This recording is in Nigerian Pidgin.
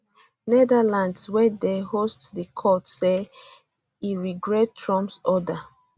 netherlands wey dey host di court say e um regret trumps order um